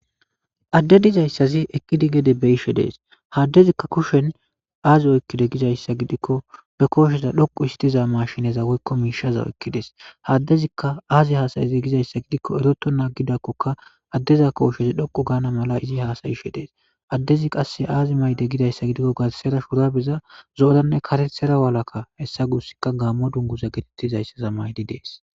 Addey dizaysi eqidi gede betishe dees ha addezika ba kushen aazi oykidees gikon ba koosheza dhoqu histiza maashine woyko mishaza oykides ha adezika azi hassa'ize giko eretonta agikoka adeza koshey dhoqu GANA mala izi hasayishe dees adezi qase azi mayide gizaysa gidiko garsera shubare zo'oranne karetjara walaka hesa gusika Gamo dunguza getetizaysa mayidi dees